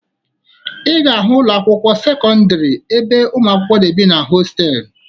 Ị ga-ahụ ụlọakwụkwọ ndị sekọndịrị ebe ụmụakwụkwọ na-ebi na hosteelụ